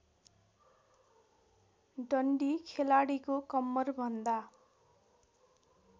डन्डी खेलाडीको कम्मरभन्दा